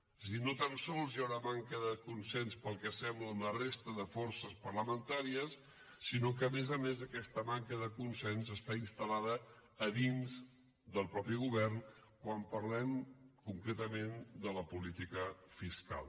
és a dir no tan sols hi ha una manca de consens pel que sembla amb la resta de forces parlamentàries sinó que a més a més aquesta manca de consens està instal·lada a dins del mateix govern quan parlem concretament de la política fiscal